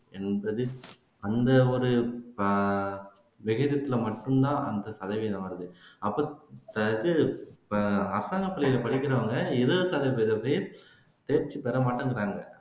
எண்பது அந்த ஒரு அஹ் வெளியிடத்துல மட்டும்தான் அந்த சதவீதம் வருது அப்போ இது அரசாங்க பள்ளியில படிக்கிறவங்க இருபது சதவீதம் பேர் தேர்ச்சி பெறமாட்டேங்கிறாங்க